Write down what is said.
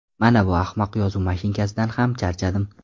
Manavi ahmoq yozuv mashinkasidan ham charchadim.